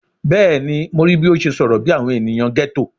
Bẹẹni, Mo rii bi o ṣe sọrọ bi awọn eniyan ghetto